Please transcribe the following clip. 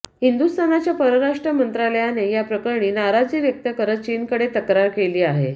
हिंदुस्थानच्या परराष्ट्र मंत्रालयाने या प्रकरणी नाराजी व्यक्त करत चीनकडे तक्रार केली आहे